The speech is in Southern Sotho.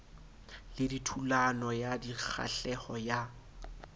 le thulano ya dikgahleho ka